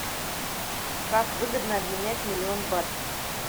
как выгодно обменять миллион бат